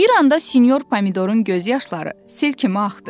Bir anda sinyor Pomidorun göz yaşları sel kimi axdı.